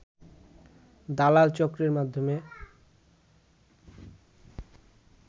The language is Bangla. দালাল চক্রের মাধ্যমে